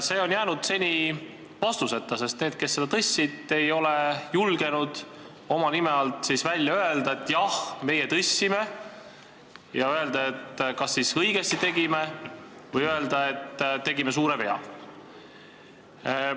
See on jäänud seni vastuseta, sest need, kes seda tõstsid, ei ole julgenud oma nime all välja öelda, et jah, nemad tõstsid, ja öelda, kas nad tegid õigesti või tegid suure vea.